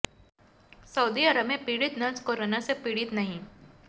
Saudi Arab में पीडि़त nurse corona से पीडि़त नहीं